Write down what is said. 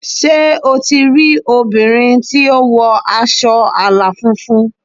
Sé o ti rí obìnrin tí ó wọ aṣọ àlà funfun?